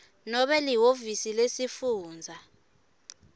nobe lihhovisi lesifundza